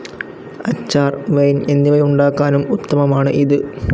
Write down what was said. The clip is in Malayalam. അച്ചാർ, വൈൻ എന്നിവയുണ്ടാക്കാനും ഉത്തമമാണ് ഇത്.